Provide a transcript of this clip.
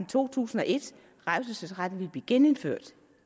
to tusind og et revselsesretten ville blive genindført